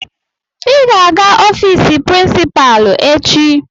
Ị ga-aga ofiisi prinsipalu echi.